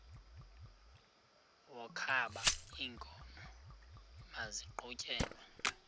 wokaba iinkomo maziqhutyelwe